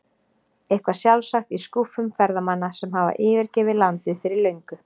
Eitthvað sjálfsagt í skúffum ferðamanna sem hafa yfirgefið landið fyrir löngu.